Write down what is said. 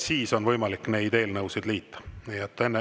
Siis on võimalik neid eelnõusid liita.